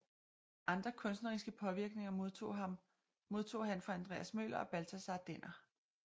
Andre kunstneriske påvirkninger modtog han fra Andreas Møller og Balthasar Denner